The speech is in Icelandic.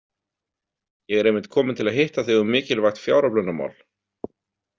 Ég er einmitt kominn til að hitta þig um mikilvægt fjáröflunarmál.